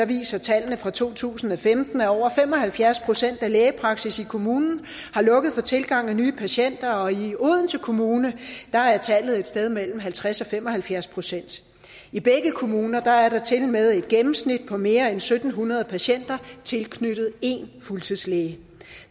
viser tallene fra to tusind og femten at over fem og halvfjerds procent af lægepraksisserne i kommunen har lukket for tilgangen af nye patienter og i odense kommune er tallet et sted mellem halvtreds og fem og halvfjerds procent i begge kommuner er der tilmed gennemsnitligt mere end syv hundrede patienter tilknyttet én fuldtidslæge